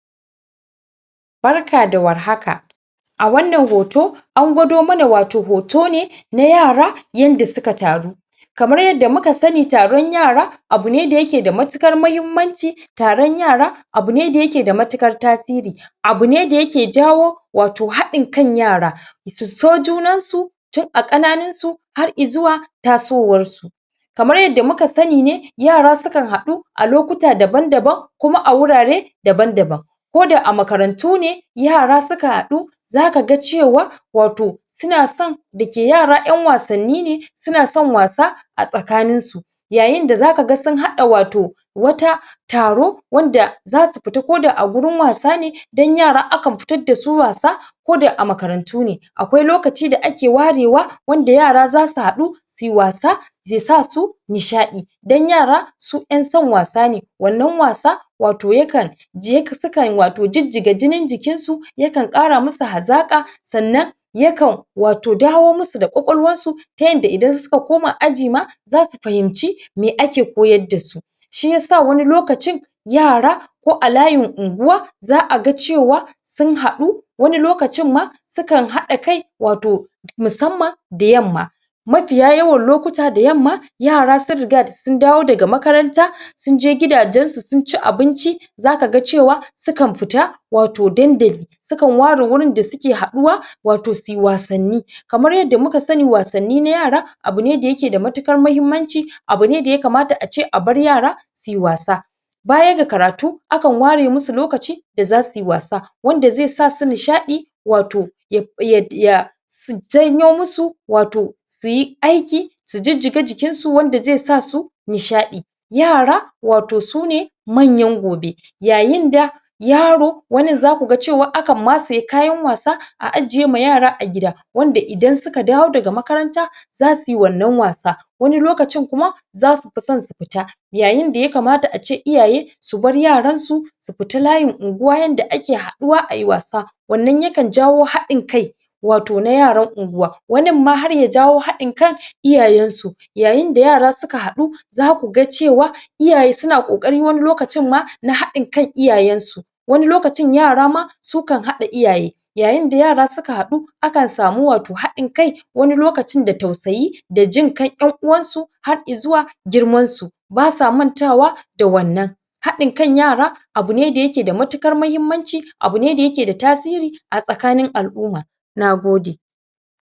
Barka da warhaka a wanan hoto an godo mana wato hoto ne na yara, yada suka taru kamar yarda muka sani, taron yara abu ne da yake da matukar mahimanci taron yara, abu ne da yake da matukar tasiri abu ne da yake jawo wato hadin kan yara su so junan su tun a kananin su har i'zuwar taso wan su kamar yarda muka sani ne yara su kan hadu a lokuta daban daban kuma a wurare daban daban ko da a makarantu ne yara suka hadu zaka gan cewa wato suna son dake yara, en wasonin ne suna son wasa a tsakanin su yayin da zaka gan sun hada wato wata taro wanda zasu fita, ko da a wurin wasa ne dan yara akan fitar da su wasa ko da a makarantu ne akwai lokaci da a ke ware wa wanda yara za su hadu su yi wasa zai sa su nisha'i dan yara su en son wasa ne wanan wasa wato yakan je, sukan, wato, jijiga jinin jikin su yakan kara masu hazaka sanan yakan wato dawo musu da kwakwalwan su ta yanda idan suka koma aji ma za su fahimci me ake koyar da su shi yasa wani lokacin yara ko a layin unguwa za a gan cewa sun hadu wani lokacin ma su kan hada kai wato musaman da yanma mafiya lokuta da yama yara sun riga da sun dawo daga makaranta sun je gidajen su sun ci abinci zaka gan cewa su kan fita wato dandali su kan ware wurin da su ke haduwa wato suyi wasanni kamar yarda muka sani wasanni na yara abu ne da ya ke da mutukar mahimanci abu ne da ya kamata a ce a bar yara su yi wasa baya da karatu a kan ware mu su lokaci da za su yi wasa wanda zai sa su nisha'i wato ya su janyo musu wato su yi aiki su jijiga jikin su wanda zai su nisha'i yara wato su ne manyan gobe yayin da yaro wanin za ku gan akan matse kayan wasa a aje ma yara a gida wanda idan suka dawo da ga makaranta za su yi wanan wasa wani lokacin kuma za su fi son su fita yayin da ya kamata a ce iyaye su bar yaran su su fita layin unguwa yada ake haduwa a yi wasa wanan ya kan jawo hadin kai wato na yaran unguwa wanin ma har ya jawo hadin kan iyayen su yayin da yara suka hadu za ku gan cewa iyaye na kokari, wani lokacin ma na hadin kan iyayen su wani lokacin yara ma su kan hada iyaye yayin da yara su ka hadu a kan sami wato hadin kai wani lokacin da tausayi da jinkai dun yan uwan su har i'zuwa girman su ba sa manta wa da wanan hadin kan yara abu ne da yake da mutukar mahimanci abu ne da yake da tasiri a tsakanin al'uma